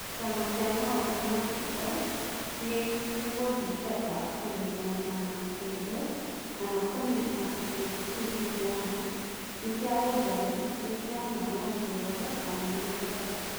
Kĩama kĩa maũndũ ma hitho nĩ gũthingata kũnyitanira na kĩndũ, kana kũmenya atĩ kĩndũ kĩu nĩ kĩa ma, nĩ kĩa ũngai, nĩ kĩa ma ya kĩĩroho, kana nĩ Ngai.